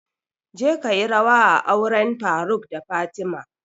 Je kayi rawa a auren faruk da fatima!